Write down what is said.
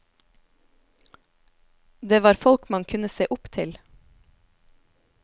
Det var folk man kunne se opp til.